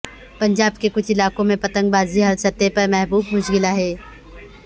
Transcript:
پنجاب کے کچھ علاقوں میں پتنگ بازی ہر سطح پر محبوب مشغلہ ہے